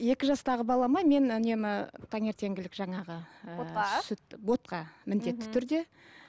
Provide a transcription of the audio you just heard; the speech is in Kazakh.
екі жастаға балама мен үнемі таңертеңгілік жаңағы ііі ботқа міндетті түрде